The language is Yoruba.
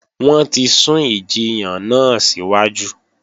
Wọ́n ti sún ìjiyàn náà síwájú